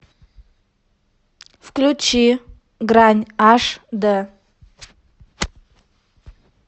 включи грань аш д